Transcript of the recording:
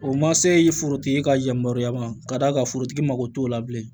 O ma se forotigi ka yamaruya ma k'a d'a ka forotigi mago t'o la bilen